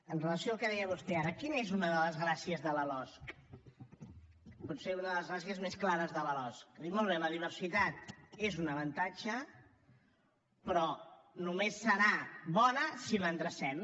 amb relació al que deia vostè ara quina és una de les gràcies de la losc potser una de les gràcies més clares de la losc molt bé la diversitat és un avantatge però només serà bona si l’endrecem